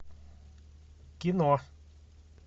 кино